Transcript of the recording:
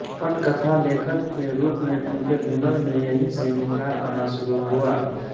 पटकथा लेखक के रूप में उनके हुनर में यहीं से निखार आना शुरु हुआ